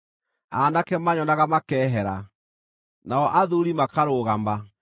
aanake maanyonaga makeehera, nao athuuri makarũgama,